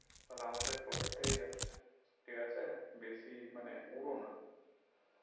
আর আমাদের পকেট থেকে যাচ্ছে ঠিকাছে বেশি মানে উড়না